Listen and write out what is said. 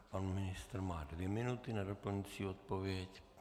Pan ministr má dvě minuty na doplňující odpověď.